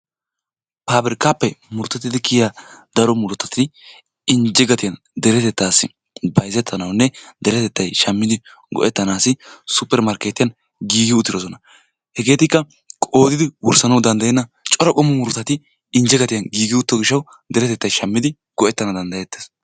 Pabirkkappe murutappe kiyyiya daro murutati injjete gatiyaan deretettasi bayzzetanawunne deretettay shammidi go'etanaw suppermarkettiyan giigi uttidoosona. hegetikka qoodidi wursssaw danddayenna cora murutatti injje gatiyaan giigidi kiy uttido gishshatssi deretettay shammidi go''etanaw danddayetes.